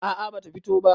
a a bata fito ba